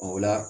O la